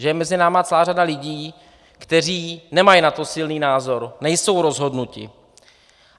Že je mezi námi celá řada lidí, kteří nemají na to silný názor, nejsou rozhodnuti.